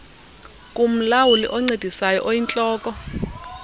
kumlawuli oncedisayo oyintloko